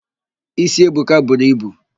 Ísí Ebuka buru ibu.